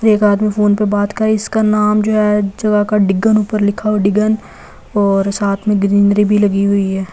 एक आदमी फोन पर बात करे इसका नाम जो है जगह का डिगन ऊपर लिखा हुआ डिगन और साथ में ग्रीनरी भी लगी हुई है।